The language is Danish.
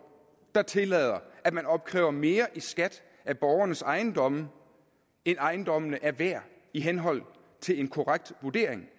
der tillader at man opkræver mere i skat af borgernes ejendomme end ejendommene er værd i henhold til en korrekt vurdering